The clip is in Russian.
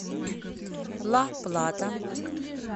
ла плата